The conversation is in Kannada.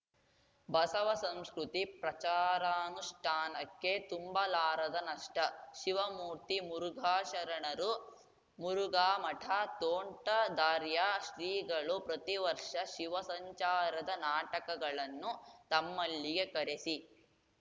ಬಸವಸಂಸ್ಕೃತಿ ಪ್ರಚಾರಾನುಷ್ಠಾನಕ್ಕೆ ತುಂಬಲಾರದ ನಷ್ಟ ಶಿವಮೂರ್ತಿ ಮುರುಘಾಶರಣರು ಮುರುಘಾ ಮಠ ತೋಂಟದಾರ್ಯ ಶ್ರೀಗಳು ಪ್ರತಿವರ್ಷ ಶಿವಸಂಚಾರದ ನಾಟಕಗಳನ್ನು ತಮ್ಮಲ್ಲಿಗೆ ಕರೆಸಿ